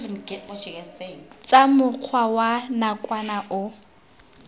tsa mokgwa wa nakwana o